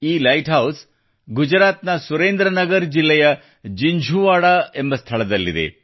ಈ lighthouse ಗುಜರಾತ್ನ Surendranagar ಜಿಲ್ಲೆಯ ಜಿಂಝುವಾಡಾ ಎಂಬ ಸ್ಥಳದಲ್ಲಿದೆ